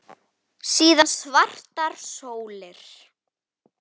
Síðan svartar sólir.